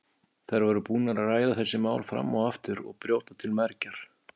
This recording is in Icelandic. Þær voru búnar að ræða þessi mál fram og aftur og brjóta til mergjar.